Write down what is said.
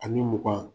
Ani mugan